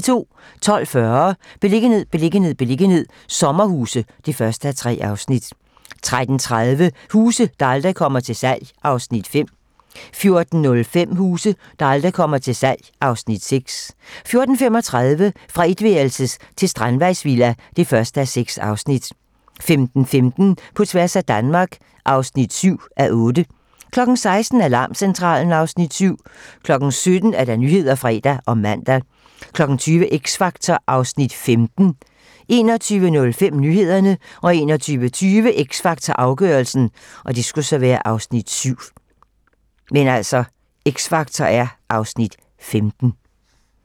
12:40: Beliggenhed, beliggenhed, beliggenhed - sommerhuse (1:3) 13:30: Huse, der aldrig kommer til salg (Afs. 5) 14:05: Huse, der aldrig kommer til salg (Afs. 6) 14:35: Fra etværelses til strandvejsvilla (1:6) 15:15: På tværs af Danmark (7:8) 16:00: Alarmcentralen (Afs. 7) 17:00: Nyhederne (fre og man) 20:00: X Factor (Afs. 15) 21:05: Nyhederne 21:20: X Factor - afgørelsen (Afs. 7)